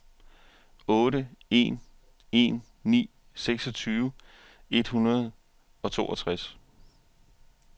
otte en en ni seksogtyve et hundrede og toogtres